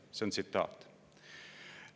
See on tsitaat.